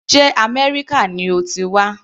Sé Améríkà ni o ti wá.